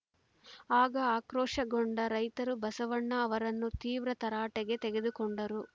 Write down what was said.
ಆಗ ಆಕ್ರೋಶಗೊಂಡ ರೈತರು ಬಸಣ್ಣ ಅವರನ್ನು ತೀವ್ರ ತರಾಟೆಗೆ ತೆಗೆದುಕೊಂಡರು